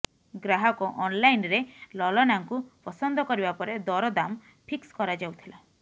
ଗ୍ରାହକ ଅନ୍ଲାଇନ୍ରେ ଲଲନାଙ୍କୁ ପସନ୍ଦ କରିବା ପରେ ଦରଦାମ୍ ଫିକ୍ସ କରାଯାଉଥିଲା